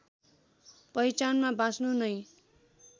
पहिचानमा बाँच्नु नै